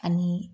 Ani